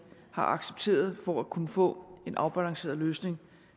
har accepteret for at kunne få en afbalanceret løsning